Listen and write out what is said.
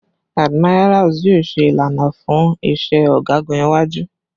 Admirals yoo ṣe ilana fun iṣẹ ọgagun iwaju